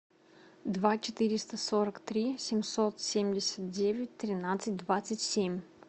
два четыреста сорок три семьсот семьдесят девять тринадцать двадцать семь